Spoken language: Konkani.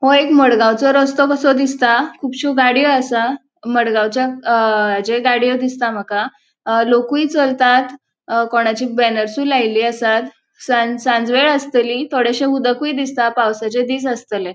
ह्यो एक मडगावचो रस्तो कसो दिसता. खुबश्यो गाड़ियों आसा. मडगावच्या अ जे गाड़ियों दिसता मका. लोकूय चलतात. कोणाची बॅनर्सयु लायली असात सांजवेळ आस्तलि थोडेशे उदकुय दिसता पावसाचे दिस आस्तले.